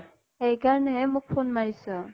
সেইকাৰণেহে মোক phone মাৰিছ